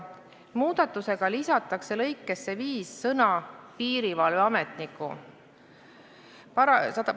Muudatusega lisatakse lõikesse 5 sõna "piirivalveametniku".